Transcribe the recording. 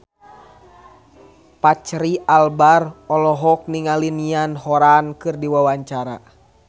Fachri Albar olohok ningali Niall Horran keur diwawancara